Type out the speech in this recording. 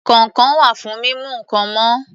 Kọ̀ǹkọ̀ wà fún mímú nǹkan mọ́